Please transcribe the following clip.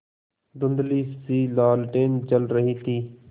धुँधलीसी लालटेन जल रही थी